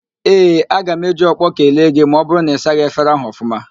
Ee, aga m eji ọkpọ kelee gị ma ọ bụrụ na ị saghị efere ahụ ọfụma